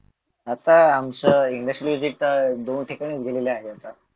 आता आमचं industrial visit चे दोन ठिकाणी उघडलेलं आहे